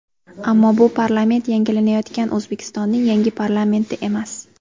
Ammo bu parlament yangilanayotgan O‘zbekistonning yangi parlamenti emas.